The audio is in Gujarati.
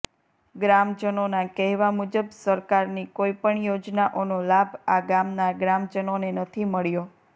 ગ્રામજનોના કહેવા મુજબ સરકારની કોઈ પણ યોજનાઓનો લાભ આ ગામના ગ્રામજનોને નથી મળ્યો